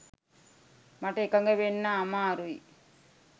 මට එකඟ වෙන්න අමාරුයි.